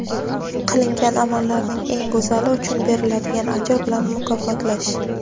Qilingan amallarning eng go‘zali uchun beriladigan ajr bilan mukofotlash.